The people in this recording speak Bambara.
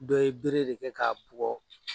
Dɔ ye bere de kɛ k'a bugɔ.